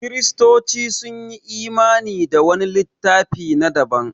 Kiristoci sun yi imani da wani littafi na daban